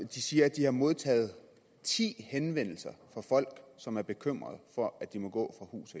de siger at de har modtaget ti henvendelser fra folk som er bekymrede for at de må gå fra hus